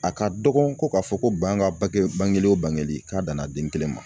A ka dɔgɔn ko k'a fɔ ko ban ka bangeli wo bangeli k'a danna den kelen ma.